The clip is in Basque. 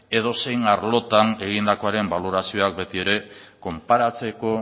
edozein arlotan egindakoaren balorazioak beti ere konparatzeko